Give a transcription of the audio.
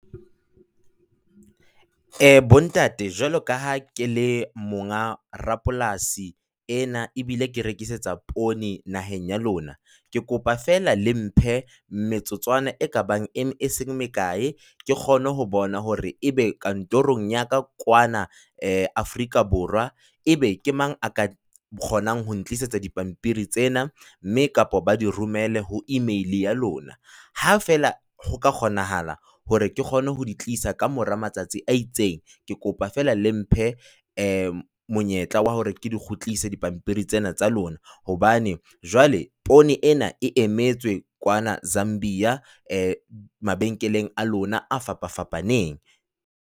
Eh bontate jwalo ka ha ke le monga rapolasi ena ebile ke rekisetsa poone naheng ya lona, ke kopa fela le mphe metsotswana e kabang e se mekae, ke kgone ho bona hore ebe kantorong ya ka kwana Afrika Borwa e be ke mang ya ka kgonang ho ntlisetsa dipampiri tsena mme kapa ba di romelwe ho email ya lona. Ha fela ho ka kgonahala hore ke kgone ho di tlisa kamora matsatsi a itseng, ke kopa fela le mphe eh monyetla wa hore ke di kgutlise pampiri tsena tsa lona, hobane jwale poone ena e emetse kwana Zambia mabenkeleng a lona a fapafapaneng.